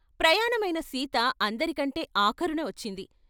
ప్రయాణమైన సీత అందరికంటె ఆఖరున వచ్చింది.